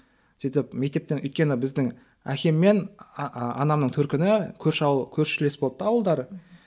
сөйтіп мектептен өйткені біздің әкем мен анамның төркіні көрші ауыл қөршілес болды да ауылдары мхм